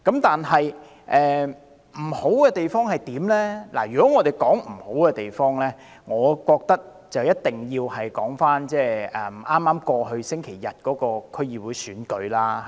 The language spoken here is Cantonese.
但是，如果要談缺點，我覺得一定要提到剛過去星期日舉行的區議會選舉。